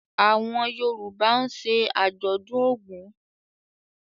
Awọn Yoruba ń ṣe ajọdun Ògún.